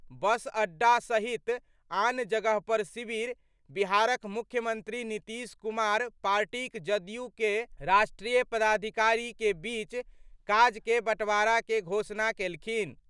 बस अड्डा सहित आन जगह पर शिविर बिहारक मुख्यमंत्री नीतीश कुमार पार्टीक जदयू के राष्ट्रीय पदाधिकारी के बीच काज के बंटवारा के घोषणा केलखिन।